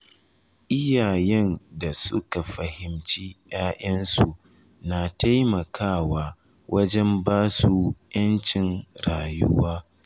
Iyayen da suka fahimci ’ya’yansu na taimakawa wajen ba su ’yancin rayuwa.